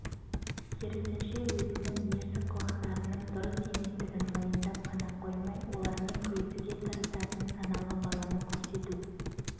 керісінше өзінің ерсі қылықтарының дұрыс еместігін мойындап қана қоймай олармен күресуге тырысатын саналы баланы көрсету